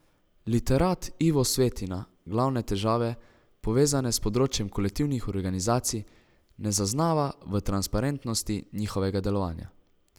Literat Ivo Svetina glavne težave, povezane s področjem kolektivnih organizacij, ne zaznava v transparentnosti njihovega delovanja.